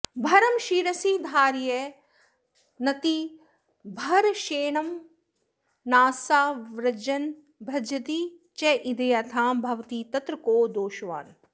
भरं शिरसि धारयन्नतिभरक्षमेणानसा व्रजन् भजति चेद्व्यथां भवति तत्र को दोषवान्